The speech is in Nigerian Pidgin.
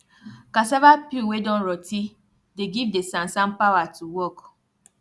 cassava peel wey don rotti dey give de sansan pawa to work